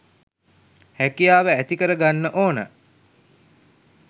හැකියාව ඇතිකර ගන්න ඕන